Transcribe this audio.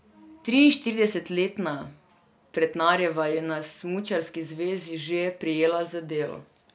Triinštiridesetletna Pretnarjeva je na smučarski zvezi že prijela za delo.